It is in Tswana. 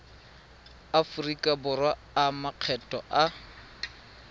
aforika borwa a makgetho a